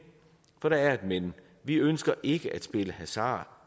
for der er et men vi ønsker ikke at spille hasard